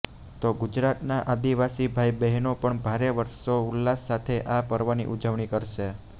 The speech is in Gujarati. તો ગુજરાતના આદીવાસી ભાઈ બહેનો પણ ભારે હર્ષો ઉલ્લાસ સાથે આ પર્વની ઉજવણી કરશે